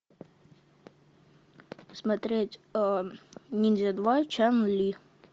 смотреть ниндзя два чан ли